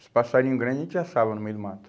Os passarinho grande a gente assava no meio do mato.